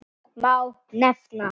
Þar má nefna